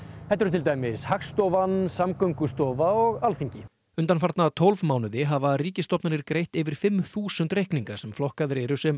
þetta eru til dæmis Hagstofan Samgöngustofa og Alþingi undanfarna tólf mánuði hafa ríkisstofnanir greitt yfir fimm þúsund reikninga sem flokkaðir eru sem